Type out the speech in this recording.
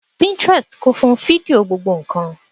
Pinterest kún fún fídíò gbogbo ǹkan